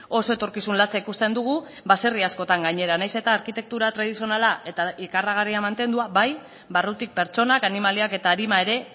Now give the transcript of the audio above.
oso etorkizun latza ikusten dugu baserri askotan gainera nahiz eta arkitektura tradizionala eta ikaragarria mantendua bai barrutik pertsonak animaliak eta arima ere